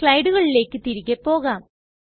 സ്ലയ്ടുകളിലെക് തിരികെ പോകാം